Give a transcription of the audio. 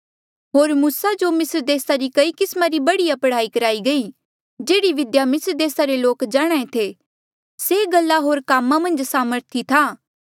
होर मूसा जो मिस्र देसा री कई किस्मा री बढ़िया पढ़ाई कराई गई जेह्ड़ी विद्या मिस्र देसा रे लोक जाणहां ऐें थे से गल्ला होर कामा मन्झ सामर्थी था